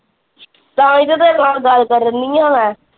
ਤਾਹਿ ਤੇ ਤੇਰੇ ਨਾਲ ਗੱਲ ਕਰਨ ਡੀ ਆ ਮੈਂ।